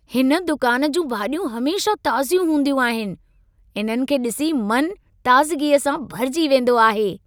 हिन दुकान जूं भाॼियूं हमेशह ताज़ियूं हूंदियूं आहिनि। इन्हनि खे ॾिसी मनु ताज़गीअ सां भरिजी वेंदो आहे।